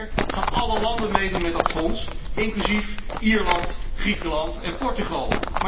Op papier gaan alle landen meedoen met dat fonds, inclusief Ierland, Griekenland en Portugal.